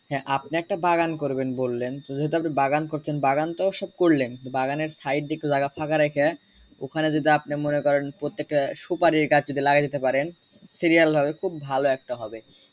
হ্যাঁ আপনি একটা বাগান করবেন বললেন তো যেহুতু আপনি বাগান করছেন বাগান তো ও সব করলেন বাগানের said দিয়ে একটু জায়গা ফাঁকা রাইখা ওখানে যদি আপনি মনে করেন প্রত্যেকটা সুপারি গাছ যদি লাগিয়ে দিতে পারেন serial ভাবে খুব ভালো একটা হবে।